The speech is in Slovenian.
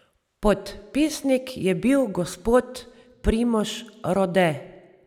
Podpisnik je bil gospod Primož Rode.